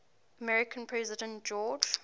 american president george